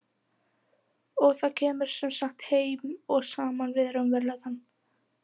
Og það kemur sem sagt heim og saman við raunveruleikann.